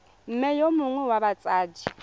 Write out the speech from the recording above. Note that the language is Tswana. mme yo mongwe wa batsadi